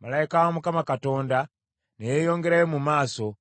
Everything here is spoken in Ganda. Malayika wa Mukama Katonda ne yeeyongerayo mu maaso,